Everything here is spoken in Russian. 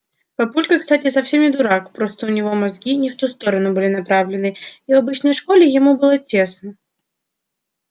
папулька кстати совсем не дурак просто у него мозги не в ту сторону были направлены и в обычной школе ему было тесно